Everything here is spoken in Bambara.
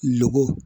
Lɔgɔ